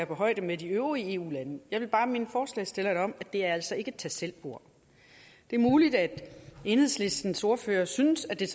på højde med de øvrige eu landes jeg vil bare minde forslagsstillerne om at det altså ikke tag selv bord det er muligt at enhedslistens ordfører synes at det er